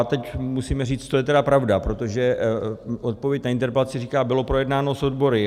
A teď musíme říct, co je tedy pravda, protože odpověď na interpelaci říká - bylo projednáno s odbory.